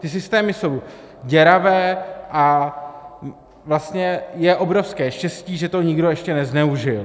Ty systémy jsou děravé a vlastně je obrovské štěstí, že to nikdo ještě nezneužil.